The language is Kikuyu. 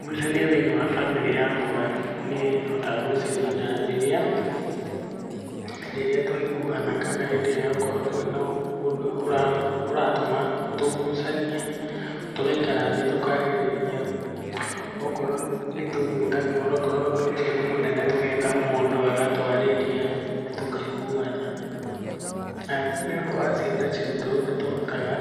Ngucanio thĩiniĩ wa bamĩrĩ yakwa nĩhotaga gũcinina rĩrĩa, rĩrĩa twaiguana kana hĩndĩ ĩrĩa okorwo twĩna ũndũ ũratũma tũgucanie, tũgaikara thĩ tũkarĩrĩria. Okorwo nĩtũgwĩta mũndũ, okorwo ũndũ ũcio nĩ mũnene tũgeta mũndũ agatwarĩria tũkaiguana. Nĩ ũndũ wa ciana citũ nĩtũhotaga